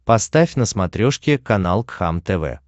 поставь на смотрешке канал кхлм тв